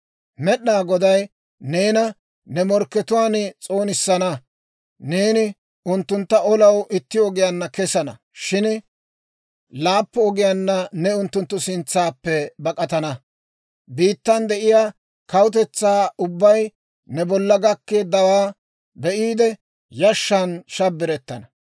«Med'inaa Goday neena ne morkkatuwaan s'oonissana; neeni unttuntta olanaw itti ogiyaanna kesana; shin laappun ogiyaanna ne unttunttu sintsaappe bak'atana. Biittan de'iyaa kawutetsaa ubbay ne bolla gakkeeddawaa be'iide, yashshan shabbirettana.